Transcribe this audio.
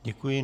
Děkuji.